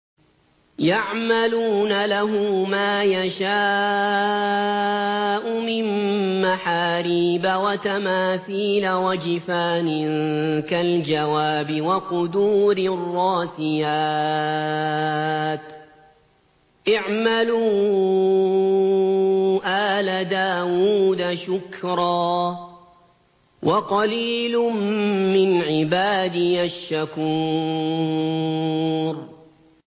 يَعْمَلُونَ لَهُ مَا يَشَاءُ مِن مَّحَارِيبَ وَتَمَاثِيلَ وَجِفَانٍ كَالْجَوَابِ وَقُدُورٍ رَّاسِيَاتٍ ۚ اعْمَلُوا آلَ دَاوُودَ شُكْرًا ۚ وَقَلِيلٌ مِّنْ عِبَادِيَ الشَّكُورُ